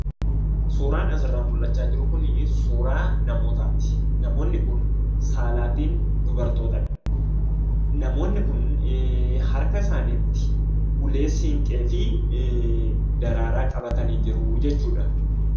Suuraan asirraa mul'achaa jiru kun suuraa namootaati. Namoonni kun saalaan dubartootadha. Namoonni kun harka isaaniitti ulee siinqee fi daraaraa qabatanii jiruu jechuudha.